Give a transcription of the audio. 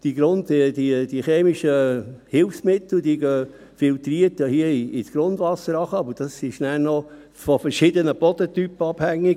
Diese chemischen Hilfsmittel gehen filtriert ins Grundwasser hinunter, aber das ist nachher noch von verschiedenen Bodentypen abhängig: